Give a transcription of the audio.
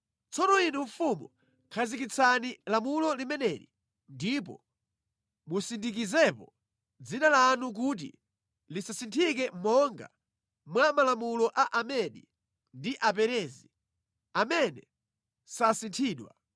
Tsopano inu mfumu khazikitsani lamulo limeneli ndipo musindikizepo dzina lanu kuti lisasinthike monga mwa malamulo a Amedi ndi Aperezi, amene sasinthidwa.”